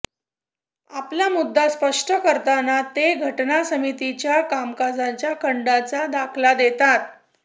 आपला मुद्दा स्पष्ट करताना ते घटना समितीच्या कामकाजाच्या खंडांचा दाखला देतात